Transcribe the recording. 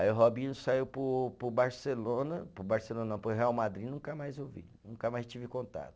Aí o Robinho saiu para o, para o Barcelona, para o Barcelona não, para o Real Madrid e nunca mais eu vi, nunca mais tive contato.